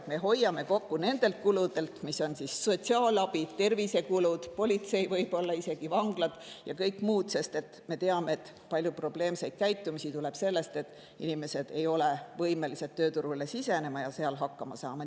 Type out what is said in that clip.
Me hoiame kokku sotsiaalabi, tervise- ja politsei kuludelt, võib-olla isegi vangla ja kõigelt muult, sest me teame, et suur osa probleemsest käitumisest tuleb sellest, et inimesed ei ole võimelised tööturule sisenema ja seal hakkama saama.